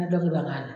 Dɔ bɛ ban ka na